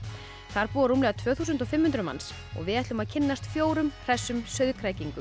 þar búa rúmlega tvö þúsund og fimm hundruð manns og við ætlum að kynnast fjórum hressum